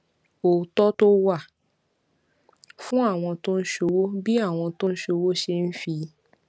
òótó tó wà fún àwọn tó ń ṣòwò bí àwọn tó ń ṣòwò ṣe ń fi